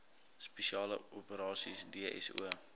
spesiale operasies dso